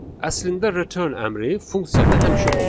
Əslində return əmri funksiyada həmişə olur.